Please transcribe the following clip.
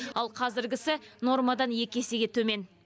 ал қазіргісі нормадан екі есеге төмен